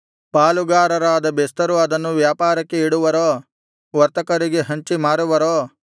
ಪಾಲುಗಾರರಾದ ಬೆಸ್ತರು ಅದನ್ನು ವ್ಯಾಪಾರಕ್ಕೆ ಇಡುವರೋ ವರ್ತಕರಿಗೆ ಹಂಚಿ ಮಾರುವರೋ